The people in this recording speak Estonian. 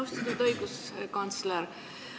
Austatud õiguskantsler!